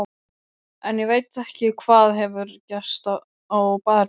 En ég veit ekki hvað hefur gerst á baðherberginu.